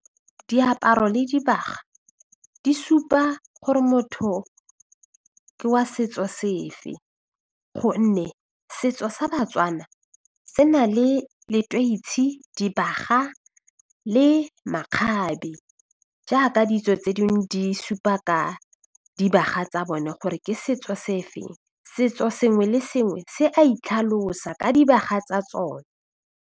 Diaparo le dibaga di supa gore motho ke wa setso sefe gonne setso sa Batswana se na le leteisi, dibaga le makgabe jaaka ditso tse dingwe di supa ka dibaga tsa bone gore ke setso se feng, setso sengwe le sengwe se a itlhalosa ka dibaga tsa tsone.